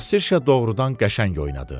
Kasserşa doğrudan qəşəng oynadı.